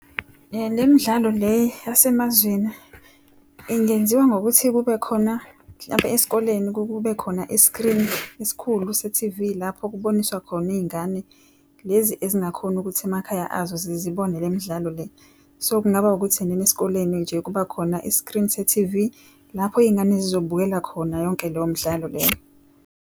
Le midlalo le yasemazweni, ingenziwa ngokuthi kube khona mhlampe esikoleni kube khona iskrini esikhulu se-T_V lapho kuboniswa khona iy'ngane lezi ezingakhoni ukuthi emakhaya azo zibone le midlalo le. So kungaba ukuthi enene esikoleni nje kuba khona iskrini se-T_V lapho iy'ngane zizobukela khona yonke leyo mdlalo leyo.